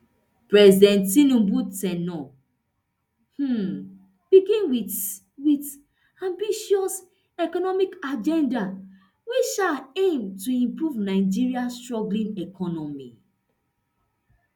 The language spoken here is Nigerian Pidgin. president tinubu ten ure um begin wit wit ambitious economic agenda wey um aim to improve nigeria struggling economy